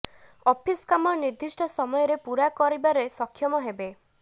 office କାମ ନିର୍ଦ୍ଦିଷ୍ଟ ସମୟରେ ପୂରା କରିବାେର ସକ୍ଷମ ହେବେ